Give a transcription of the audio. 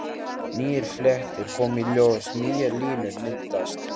Nýir fletir koma í ljós, nýjar línur myndast.